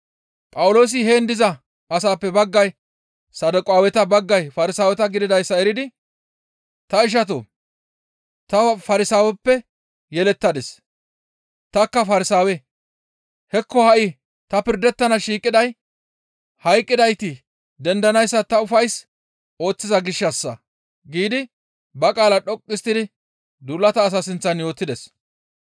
Phawuloosi heen diza asaappe baggay Saduqaaweta, baggay Farsaaweta gididayssa eridi, «Ta ishatoo! Ta Farsaaweppe yelettadis; tanikka Farsaawe; hekko ha7i ta pirdettana shiiqiday hayqqidayti dendanayssa ta ufays ooththiza gishshassa» giidi ba qaalaa dhoqqu histtidi duulata asaa sinththan yootides.